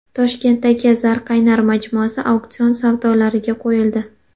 Toshkentdagi Zarqaynar majmuasi auksion savdolariga qo‘yildi .